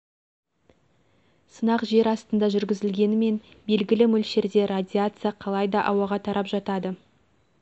сынақ жер астында жүргізілгенімен белгілі мөлшерде радиация қалай да ауаға тарап жатады